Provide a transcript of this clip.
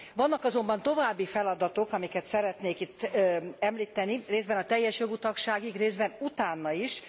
Vannak azonban további feladatok, amiket szeretnék itt említeni részben a teljes jogú tagságig, részben utána is.